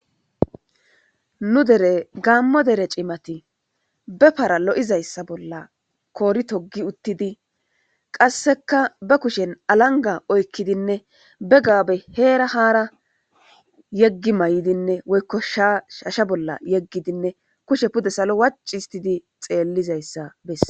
nu dere gaammo dere cimati be para lo7izayssa bolla koori togi uttidi qasseka ba kushen alanga oykkidinne be gaabe heera haara yeggi may7idinne woykko shshasha bolla yeggidinne kushe pude salo wac histidi xeellizayssa besse